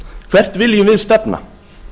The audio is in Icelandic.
hvert viljum við stefna